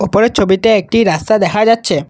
উপরের ছবিতে একটি রাস্তা দেখা যাচ্ছে।